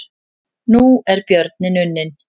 Nú er björninn unninn